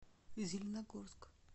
зеленогорск